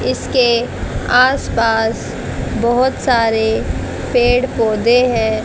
इसके आस पास बहोत सारे पेड़ पौधे हैं।